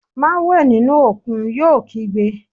Má wẹ̀ nínú òkun, yóò kígbe